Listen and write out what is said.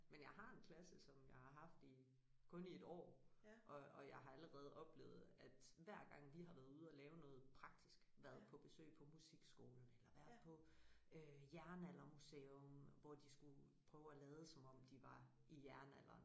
Men jeg har en klasse som jeg har haft i kun i et år og og jeg har allerede oplevet at hver gang vi har været ude og lave noget praktisk været på besøg på musikskolen eller været på øh jernaldermuseum hvor de skulle prøve at lade som om de var i jernalderen